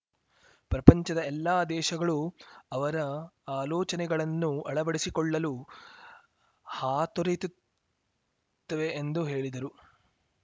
ಪ್ರಪಂಚದ ಎಲ್ಲಾ ದೇಶಗಳು ಅವರ ಆಲೋಚನೆಗಳನ್ನು ಅಳವಡಿಸಿಕೊಳ್ಳಲು ಹಾತೊರಿಯುತ್ತವೆ ಎಂದು ಹೇಳಿದರು